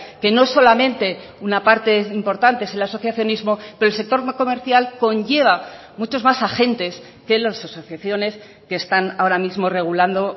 que no solamente una parte importante es el asociacionismo pero el sector comercial conlleva muchos más agentes que las asociaciones que están ahora mismo regulando